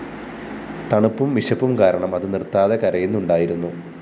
തണുപ്പും വിശപ്പും കാരണം അതു നിര്‍ത്താതെ കരയുന്നുണ്ടായിരുന്നു